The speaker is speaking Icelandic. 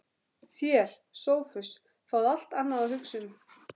Þér, Sophus, fáið allt annað að hugsa um.